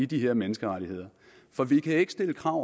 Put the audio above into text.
de her menneskerettigheder for vi kan ikke stille krav